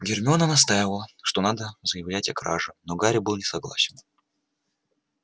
гермиона настаивала что надо заявлять о краже но гарри был не согласен